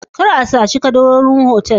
Kar a saci kadarorin otal